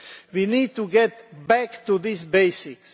We need to get back to these basics.